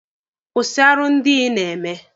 Kwụsị arụ ndị a ị na-eme!